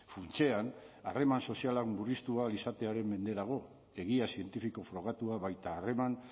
funtsean harreman sozialak murriztu ahal izatearen mende dago egia zientifiko frogatua baita harreman